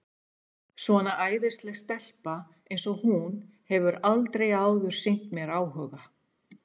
Svona æðisleg stelpa eins og hún hefur aldrei áður sýnt mér áhuga.